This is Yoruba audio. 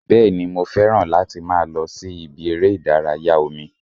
Bẹ́ẹ̀ni, mo fẹ́ràn láti máa lọ sí ibi eré ìdárayá omi